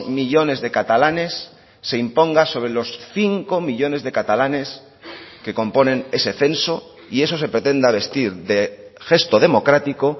millónes de catalanes se imponga sobre los cinco millónes de catalanes que componen ese censo y eso se pretenda vestir de gesto democrático